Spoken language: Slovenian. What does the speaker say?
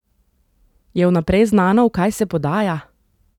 Je vnaprej znano, v kaj se podaja?